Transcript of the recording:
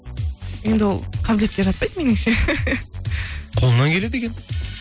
енді ол қабілетке жатпайды меніңше қолынан келеді екен